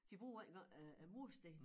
De bruger ikke noget af af mursten